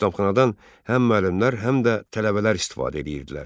Kitabxanadan həm müəllimlər, həm də tələbələr istifadə edirdilər.